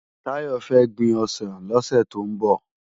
Tayo fè gbin òsán lòsè tó n bò